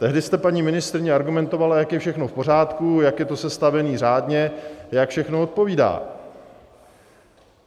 Tehdy jste, paní ministryně, argumentovala, jak je všechno v pořádku, jak je to sestaveno řádně, jak všechno odpovídá.